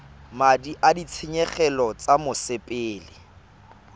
madi a ditshenyegelo tsa mosepele